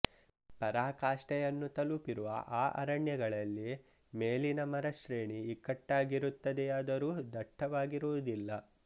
ಪರಾಕಾಷ್ಠೆಯನ್ನು ತಲಪಿರುವ ಈ ಅರಣ್ಯಗಳಲ್ಲಿ ಮೇಲಿನ ಮರಶ್ರೇಣಿ ಇಕ್ಕಟ್ಟಾಗಿರುತ್ತದೆಯಾದರೂ ದಟ್ಟವಾಗಿರುವುದಿಲ್ಲ